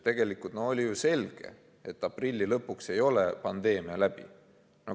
Tegelikult oli ju selge, et aprilli lõpuks ei ole pandeemia läbi.